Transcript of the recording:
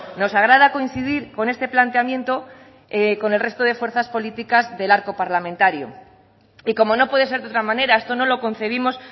nos agrada coincidir con este planteamiento con el resto de fuerzas políticas del arco parlamentario y como no puede ser de otra manera esto no lo concebimos